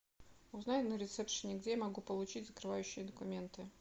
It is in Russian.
узнай на ресепшене где я могу получить закрывающие документы